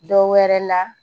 Dɔ wɛrɛ la